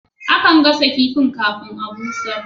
Akan gasa kifin kafin a'busher.